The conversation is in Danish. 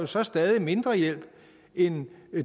så stadig mindre hjælp end